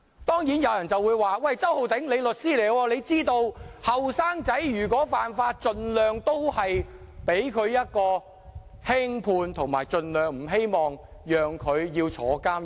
當然，有人會說："周浩鼎，你是律師，你知道年青人犯法，法庭會盡量輕判，希望他們盡量不要坐牢"。